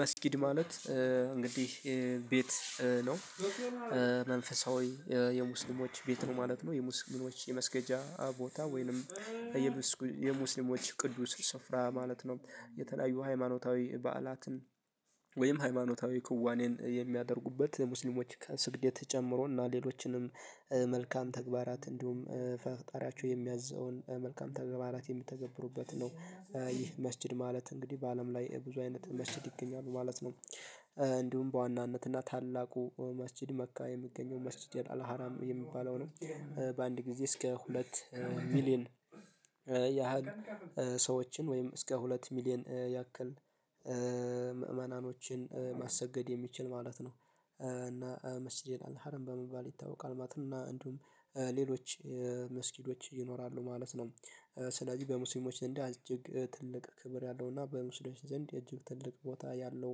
መስጂድ ማለት እንግዲህ ቤት ነው። መንፈሳዊ የሙስሊሞች ቤት ነው ማለት ነው የሙስሊሞች የመስገጃ ቦታ ወይንም የምስ የሙስሊሞች ቅዱስ ስፍራ ማለት ነው። የተለያዩ ሃይማኖታዊ በዓላትን ወይም ሃይማኖታዊ ክዋኔን የሚያደርጉበት የሙስሊሞች ከስግደት ጀምሮ እና ሌሎችንም መልካም ተግባራት እንዲሁም ፈጣሪያቸው የሚያዘውን መልካም ተገባራት የምተገብሩበት ነው የ ይህ መስጂድ ማለት እንግዲህ በአለም ላይ ብዙ አይነት መስጂድ ይገኛል ማለት ነው። እንዲሁም በዋናነት እና ታላቁ መስጂድ መካ የሚገኘው መስጂድ የላለሀራም የሚባለው ነው። በአንድ ጊዜ እስከ ሁለት ሚሊየን ያህል ሰዎችን ወይም እስከ ሁለት ሚሊየን ያክል ምዕመናኖችን ማሰገድ የሚችል ማለት ነው። እና መስጂድ ይላለሀረም በመባል ይታወቃል ማለት ነው እና እንዲሁም ሌሎች መስጂዶች ይኖራሉ ማለት ነው። ስለዚህ በሙስሊሞች ዘንድ እጅግ ትልቅ ክብር ያለው እና በሙስሊሞች ዘንድ እጅግ ትልቅ ቦታ ያለው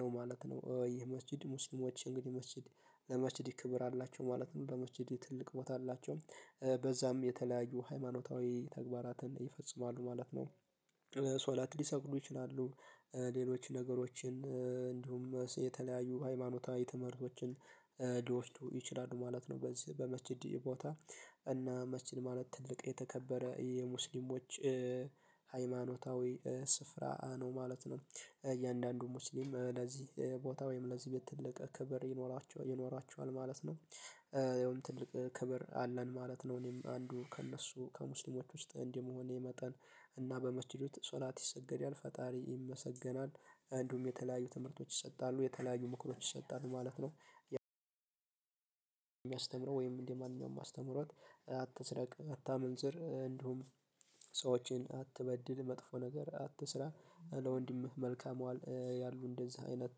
ነው ማለት ነው። ይሄ መስጂድ ሙስሊሞች እንግዲህ መስጂድ ለመስጂድ ክብር አላቸው ማለት ነው ለመስጂድ ትልቅ ቦታ አላቸው በዛም የተለያዩ ሃይማኖታዊ ተግባራትን ይፈጽማሉ ማለት ነው። ሶላት ሊሰግዱ ይችላሉ ሌሎች ነገሮችን እንዲሁም የተለያዩ ሃይማኖታዊ ትምህርቶችን ልወስዱ ይችላሉ ማለት ነው። በዚህ በመስጂድ ቦታ እና መስጂድ ማለት ትልቅ የተከበረ የሙስሊሞች ሃይማኖታዊ ስፍራ ነው ማለት ነው። እያንዳንዱ ሙስሊም ለዚህ ቦታ ወይም ለዚህ ቤት ትልቅ ክብር ይኖራቸዋ ይኖራቸዋል ማለት ነው። ያውም ትልቅ ክብር አለን ማለት ነው እኔም አንዱ ከእነሱ ከሙስሊሞች ውስጥ እንደ መሆኔ መጠን እና በመስጂድ ውስጥ ሶላት ይሰገዳል ፈጣሪ ይመሰገናል። እንዲሁም የተለያዩ ትምህርቶች ይሰጣሉ የተለያዩ ምክሮች ይሰጣሉ ማለት ነው። የሚያስተምረው ወይም እንደ ማንኛውም አስተምህሮት አትስረቅ አታመንዝር እንዲሁም ሰዎችን አትበድል መጥፎ ነገር አትስራ ለወንድምህ መልካም ዋል ያሉ እንደነዚህ አይነት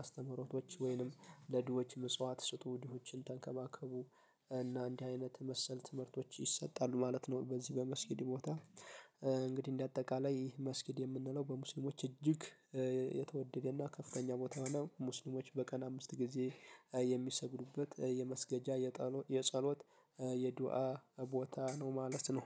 አስተምህሮቶች ወይንም ለድሆች ምጽዋት ስጡ ድሆችን ተንከባከቡ እና እንዲህ አይነት መሰል ትምህርቶች ይሰጣሉ ማለት ነው። በዚህ በመስጊድ ቦታ እንግዲህ እንደ አጠቃላይ መስጂድ የምንለው በሙስሊሞች እጅግ የተወደደና ከፍተኛ ቦታ ነው። ሙስሊሞች በቀን አምስት ጊዜ የሚሰግዱበት የመስገጃ የጸሎት የዱአ ቦታ ነው ማለት ነው